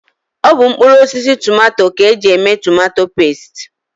Ọ bụ mkpụrụosisi tomato ka e ji eme tomato pesti